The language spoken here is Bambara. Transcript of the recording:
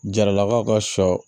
Jaralakaw ka sɔ